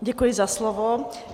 Děkuji za slovo.